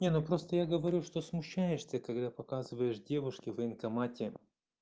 не ну просто я говорю что смущаешься когда показываешь девушке в военкомате